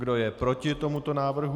Kdo je proti tomuto návrhu?